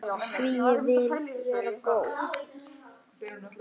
Því ég vil vera góð.